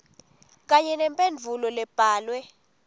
kanye nemphendvulo lebhalwe